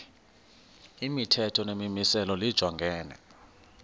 imithetho nemimiselo lijongene